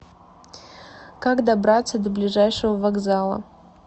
как добраться до ближайшего вокзала